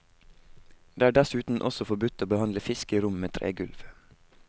Det er dessuten også forbudt å behandle fisk i rom med tregulv.